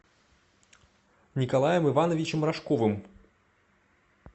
николаем ивановичем рожковым